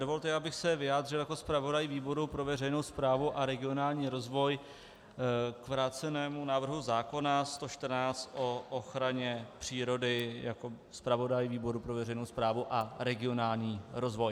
Dovolte, abych se vyjádřil jako zpravodaj výboru pro veřejnou správu a regionální rozvoj k vrácenému návrhu zákona 114 o ochraně přírody jako zpravodaj výboru pro veřejnou správu a regionální rozvoj.